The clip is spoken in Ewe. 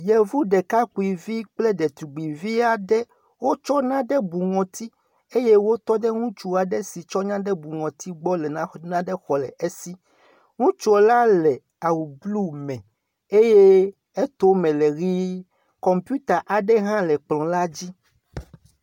Yevu ɖekakpuivi kple detugbuivi aɖe. wotsɔ naɖe bu ŋɔti eye wotɔ ɖe ŋutsu aɖe si tsɔ naɖe bu ŋɔti gbɔ le na nane xɔ le esi. Ŋutsu la le awu blu me eye etome le ʋii. Kɔmpiuta aɖe hã le kplɔ̃ la dzi.